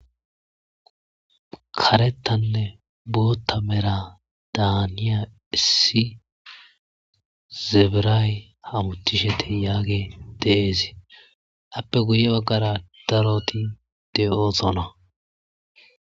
Karettanne bootta mera daaniya issi zabiraay hamutishete yaage deeesi appe guye baggara daroti de'osona.